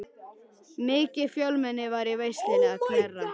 Mikið fjölmenni var í veislunni að Knerri.